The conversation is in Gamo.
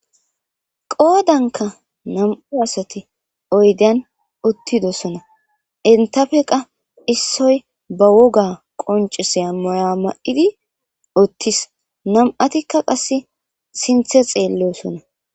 qoodankka nam'u asati oydden uttidoosona entafekka issoy ba wogga qoncisiya maya ma'idi uttis nam'atikka qasse siinththe xeellossona